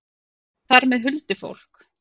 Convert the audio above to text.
Og þar með huldufólk?